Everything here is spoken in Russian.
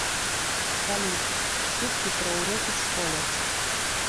салют шутки про уроки в школе